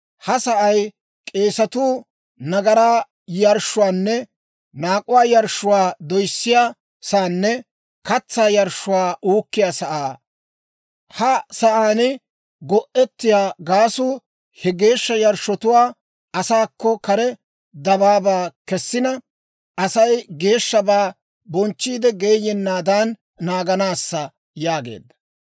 «Ha sa'ay k'eesatuu nagaraa yarshshuwaanne naak'uwaa yarshshuwaa doyissiyaa saanne katsaa yarshshuwaa uukkiyaa sa'aa. Ha sa'aan go'ettiyaa gaasuu he geeshsha yarshshotuwaa asaakko kare dabaabaa kessina, Asay geeshshabaa bochchiide geeyennaadan naaganaassa» yaageedda.